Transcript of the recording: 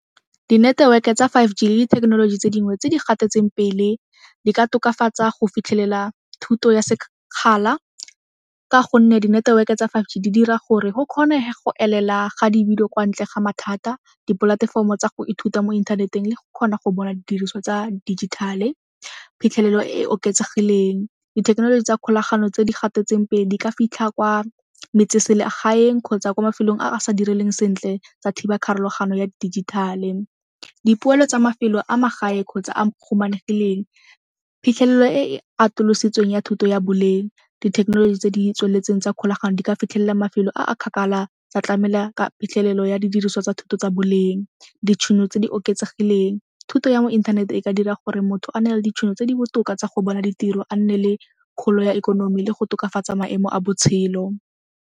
Dineteweke e tsa five G le dithekenoloji tse dingwe tse di gatetseng pele di ka tokafatsa go fitlhelela thuto ya sekgala ka gonne dineteweke tsa five G di dira gore go kgonege go elela ga kwa ntle ga mathata, dipolatefomo tsa go ithuta mo inthaneteng le go kgona go bona didiriswa tsa dijithale. Phitlhelelo e e oketsegileng, dithekenoloji tsa kgolagano tse di gatetseng pele di ka fitlha kwa metseselegaeng kgotsa kwa mafelong a sa direleng sentle tsa thiba pharogano ya dijithale. Dipoelo tsa mafelo a magae kgotsa a phitlhelelo e e atolositsweng ya thuto ya boleng. Dithekenoloji tse di tsweletseng tsa kgolagano di ka fitlhelela mafelo a a kgakala tsa tlamela ka phitlhelelo go ya didiriswa tsa thuto tsa boleng. Ditšhono tse di oketsegileng, thuto ya mo inthaneteng e ka dira gore motho a nale ditšhono tse di botoka tsa go bona ditiro a nne le kgolo ya ikonomi le go tokafatsa maemo a botshelo.